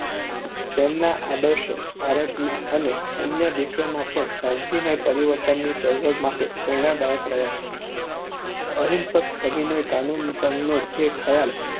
તેમના આદર્શો ભારતમાં અને અન્ય દેશોમાં પણ શાંતિમય પરિવર્તનની ચળવળ માટે પ્રેરણાદાયક રહ્યા છે. અહિંસક સવિનય કાનૂનભંગનો જે ખ્યાલ